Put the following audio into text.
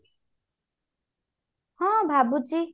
ହଁ ଭାବୁଛି